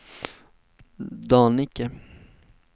Dannike